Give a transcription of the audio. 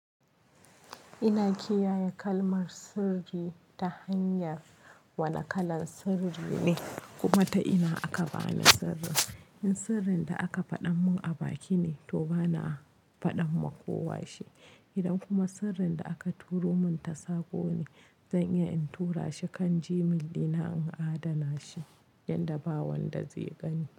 Ina kiyaye kalmar sirri ta hanyar wane kalan sirri ne kuma ta ina aka bani sirrin. In sirrin da aka faɗan mun a baki ne to bana faɗa ma kowa shi. Idan kuma sirrin da aka turo mun ta sako ne zan iya in tura shi kan Gmail dina in adana shi yanda ba wanda zai gani.